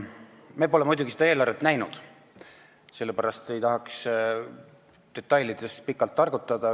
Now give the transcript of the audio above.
Me pole muidugi seda eelarvet näinud ja sellepärast ei tahaks detailide üle pikalt targutada.